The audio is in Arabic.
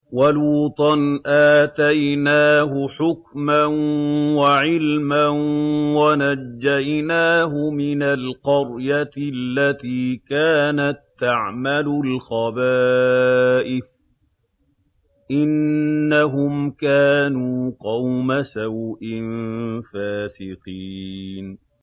وَلُوطًا آتَيْنَاهُ حُكْمًا وَعِلْمًا وَنَجَّيْنَاهُ مِنَ الْقَرْيَةِ الَّتِي كَانَت تَّعْمَلُ الْخَبَائِثَ ۗ إِنَّهُمْ كَانُوا قَوْمَ سَوْءٍ فَاسِقِينَ